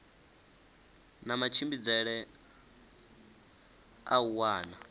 na matshimbidzele a u wana